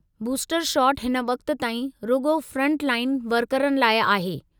Booster shot हिन वक़्त ताईं रुॻो फ़्रंटलाइन वर्करनि लाइ आहे।